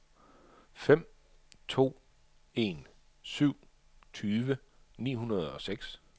fem to en syv tyve ni hundrede og seks